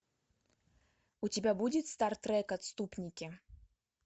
у тебя будет стар трек отступники